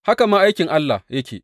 Haka ma aikin Allah yake.